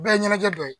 Bɛɛ ye ɲɛnajɛ dɔ ye